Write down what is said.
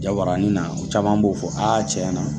Jabanin na o caman b'o fɔ aa cɛn na